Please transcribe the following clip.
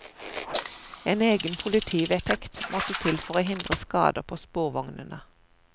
En egen politivedtekt måtte til for å hindre skader på sporvognene.